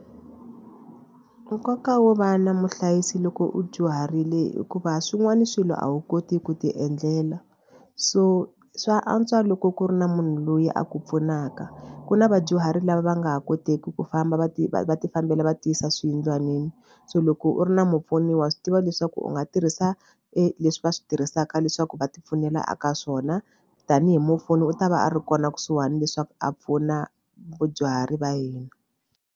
Nkoka wo va na muhlayisi loko u dyuharile hikuva swin'wana swilo a wu koti ku tiendlela so swa antswa loko ku ri na munhu loyi a ku pfunaka. Ku na vadyuhari lava va nga ha kotiki ku famba va ti va tifambela va tiyisa swiyindlwanini so loko u ri na mupfuni wa swi tiva leswaku u nga tirhisa leswi va swi tirhisaka leswaku va tipfunela ka swona tanihi mupfuni u ta va a ri kona kusuhani leswaku a pfuna vadyuhari va hina.